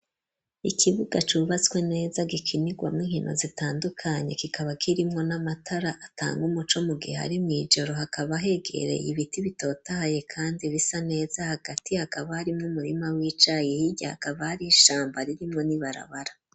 Ikibuga cubatswe neza gikinirwamwo inkino zitandukanye kikaba kirimwo n'amatara atanga umuco mu gihe ari mw'ijoro hakaba hegereye ibiti bitotaye kandi bisa neza hagati hakaba harimwo umurima w'icayi hirya hakaba ari ishamba ririmwo n'ibarabara.